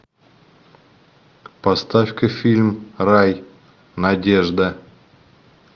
поставь ка фильм рай надежда